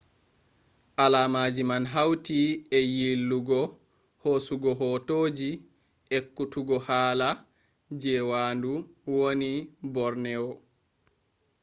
alaamaji man hauti e yillugo hosugo hootoji ekkutugo hala je waandu wooni borneo